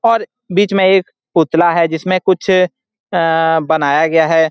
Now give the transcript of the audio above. और बीच में एक पुतला है जिसमें कुछ अ अ बनाया गया है ।